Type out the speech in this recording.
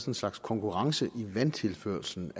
en slags konkurrence i vandtilførslen